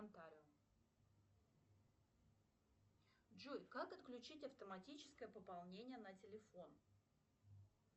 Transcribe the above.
джой как отключить автоматическое пополнение на телефон